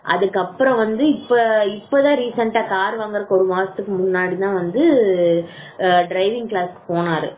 அதுக்கு அப்புறம் வந்து இப்போ கார் வாங்குறதுக்கு ஒரு மாசத்துக்கு முன்னாடி முன்னாடி தான் வந்து டிரைவிங் கிளாஸ்க்கு போனாரு